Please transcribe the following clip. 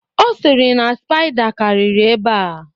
Ọ sịrị na spaida karịrị ebea